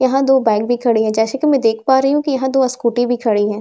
यहां दो बाइक भी खड़ी है जैसे कि मैं देख पा रही हूं कि यहां दो स्कूटी भी खड़ी है।